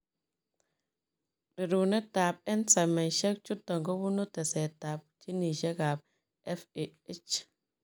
Reruneet ep ensaimisie chutok kobunuu teset ap ginisiek ap FAH.